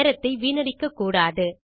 நேரத்தை வீணடிக்கக்கூடாது